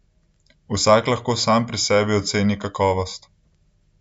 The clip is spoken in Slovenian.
Vsak lahko sam pri sebi oceni kakovost.